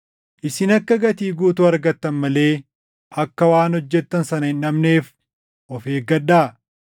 Isin akka gatii guutuu argattan malee akka waan hojjettan sana hin dhabneef of eeggadhaa.